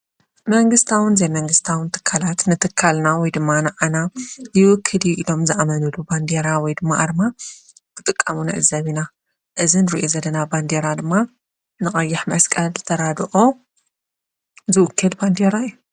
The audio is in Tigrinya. መንግስታውን ዘይመንግስታውን ትካላት ንትካልና ወይ ድማ ንዓና ይውክል እዩ ኢሎም ዝኣመንሉ ባንዴራ ወይ ድማ ኣርማ ክጥቀሙ ንዕዘብ ኢና፡፡ እዚ ንርእዮ ዘለና ባንዴራ ድማ ንቐይሕ መስቀል ተራድኦ ዝውክል ባንዴራ እዩ፡፡